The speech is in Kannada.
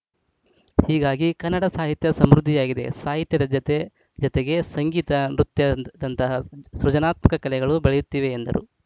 ಹೀಗಾಗಿ ಕನ್ನಡ ಸಾಹಿತ್ಯ ಸಮೃದ್ಧಿಯಾಗಿದೆ ಸಾಹಿತ್ಯದ ಜತೆ ಜತೆಗೆ ಸಂಗೀತ ನೃತ್ಯದಂತಹ ಸೃಜನಾತ್ಮಕ ಕಲೆಗಳು ಬೆಳೆಯುತ್ತಿವೆ ಎಂದರು